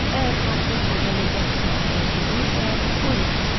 Əgər portret qocalacaqsa, dəyişəcəksə, qoy dəyişsin.